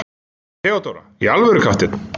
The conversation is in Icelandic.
THEODÓRA: Í alvöru, kafteinn!